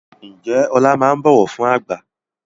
Ǹjẹ́ Ọlá máa ń bọ̀wọ̀ fún àgbà?